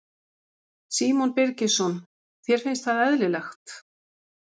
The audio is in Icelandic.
Símon Birgisson: Þér finnst það eðlilegt?